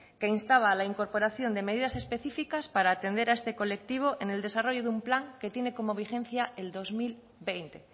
que instaba a la incorporación de medidas específicas para atender a este colectivo en el desarrollo de un plan que tienen como vigencia el dos mil veinte